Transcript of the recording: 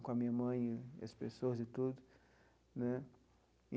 com a minha mãe, e as pessoas e tudo né.